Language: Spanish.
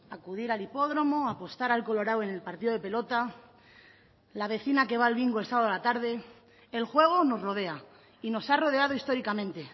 acudir al hipódromo apostar al colorado en el partido de pelota la vecina que va al bingo el sábado a la tarde el juego nos rodea y nos ha rodeado históricamente